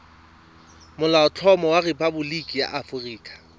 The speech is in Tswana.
molaotlhomo wa rephaboliki ya aforika